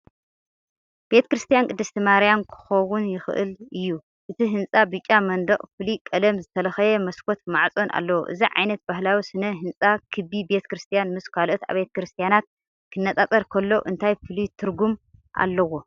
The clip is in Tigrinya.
ቤተ ክርስቲያን ቅድስት ማርያም ክኸውን ይኽእል እዩ። እቲ ህንጻ ብጫ መንደቕን ፍሉይ ቀለም ዝተለኽየ መስኮትን ማዕጾን ኣለዎ። እዚ ዓይነት ባህላዊ ስነ ህንጻ ክቢ ቤተ ክርስቲያን ምስ ካልኦት ኣብያተ ክርስቲያናት ክነጻጸር ከሎ እንታይ ፍሉይ ትርጉም ኣለዎ?